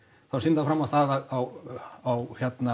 þá sýndi hann fram á það að á